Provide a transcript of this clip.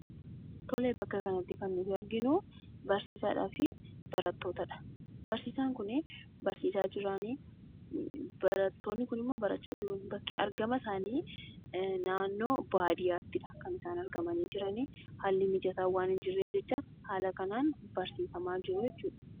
Tole, bakka kanatti kan nuti arginuu barsiisaadhaafi barattootadha, barsiisaan kunii barsiisaa jiraanii, barattoonni kuni barachaa jiruunii bakki argama isaanii naannoo baadiyyaatidha. Kan isaan argamanii jiranii haalli mijataan waan hin jirreef jecha haala kanaan barsiifamaa jiruu jechuudha.